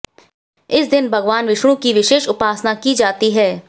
इस दिन भगवान विष्णु कि विशेष उपासना की जाती है